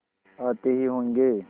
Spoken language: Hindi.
आते ही होंगे